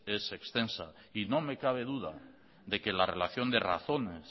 es extensa y no me cabe duda de que la relación de razones